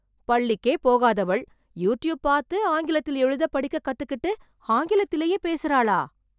பள்ளிக்கே போகாதவள், யூட்யூப் பார்த்து ஆங்கிலத்தில் எழுத, படிக்க கத்துக்கிட்டு, ஆங்கிலத்திலேயே பேசறாளா...